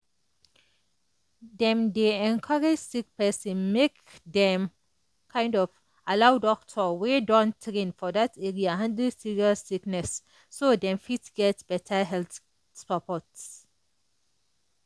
dem dey encourage sick person make dem kind of allow doctor wey don train for that area handle serious sickness so dem fit get better health support.